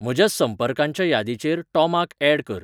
म्हज्या संपर्कांच्या यादीचेर टॉमाक ऍड कर